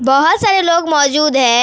बहोत सारे लोग मौजूद है।